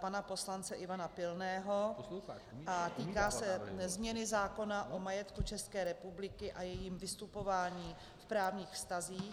pana poslance Ivana Pilného a týká se změny zákona o majetku České republiky a jejím vystupování v právních vztazích.